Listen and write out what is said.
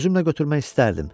Özümlə götürmək istəyərdim.